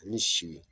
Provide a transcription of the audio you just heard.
Ni si